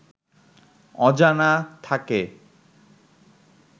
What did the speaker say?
অজানা থাকে